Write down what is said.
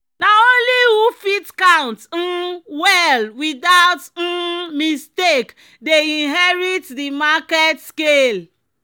"na only who fit count um well without um mistake dey inherit di market scale."